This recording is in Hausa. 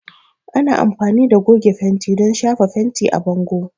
Ana amfani da goge fenti don shafa fenti a bango.